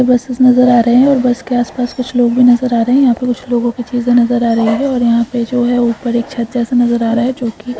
buses नजर आ रहे है और बस के आसपास कुछ लोग भी नजर आ रहे है यहाँ पे कुछ लोगों की चीजे नजर आ रही है और यहाँ पे जो है ऊपर एक छत जैसा नजर आ रहा है जो की --